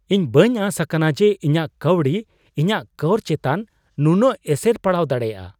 ᱤᱧ ᱵᱟᱹᱧ ᱟᱥ ᱟᱠᱟᱱᱟ ᱡᱮ ᱤᱧᱟᱹᱜ ᱠᱟᱹᱣᱰᱤ ᱤᱧᱟᱜ ᱠᱚᱨ ᱪᱮᱛᱟᱱ ᱱᱩᱱᱟᱹᱜ ᱮᱥᱮᱨ ᱯᱟᱲᱟᱣ ᱫᱟᱲᱮᱭᱟᱜᱼᱟ ᱾